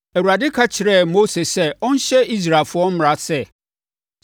Awurade ka kyerɛɛ Mose sɛ ɔnhyɛ Israelfoɔ mmara sɛ,